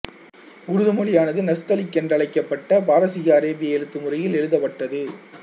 உருது மொழியானது நஸ்தலிக் என்ற அழைக்கப்பட்ட பாரசீகஅரேபிய எழுத்துமுறையில் எழுதப்பட்டது